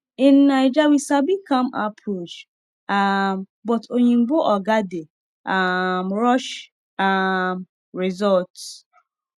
in naija we sabi calm approach um but oyinbo oga dey um rush um results